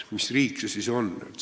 Mis riik see siis on?